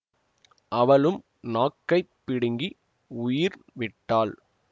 அவளும் நாக்கைப் பிடுங்கி உயிர் விட்டாள்